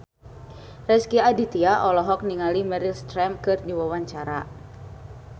Rezky Aditya olohok ningali Meryl Streep keur diwawancara